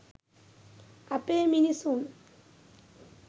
අපේ මිනිසුන්